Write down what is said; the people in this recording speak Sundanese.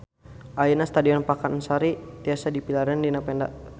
Ayeuna Stadion Pakansari tiasa dipilarian dina peta